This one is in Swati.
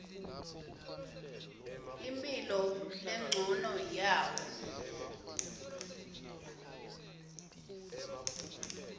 imphilo lencono yawo